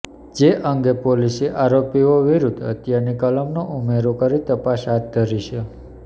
જે અંગે પોલીસે આરોપીઓ વિરૃધ્ધ હત્યાની કલમનો ઊમેરો કરી તપાસ હાથ ધરી છે